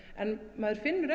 maður finnur